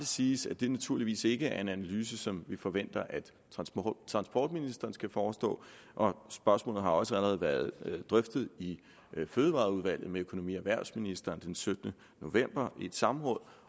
siges at det naturligvis ikke er en analyse som vi forventer at transportministeren skal forestå spørgsmålet har også allerede været drøftet i fødevareudvalget med økonomi og erhvervsministeren den syttende november i et samråd